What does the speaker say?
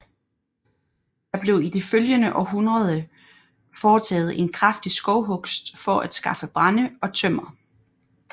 Der blev i de følgende århundreder foretaget en kraftig skovhugst for at skaffe brænde og tømmer